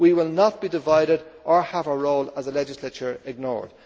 We will not be divided or have our role as a legislature ignored.